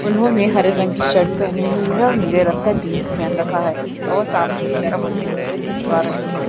उन्होंने हरे रंग की शर्ट पेहनी हुई है और नीले रंग का जीन्स पेहन रखा है और सामने की तरफ अपनी तस्वीर खिचवा रहे है।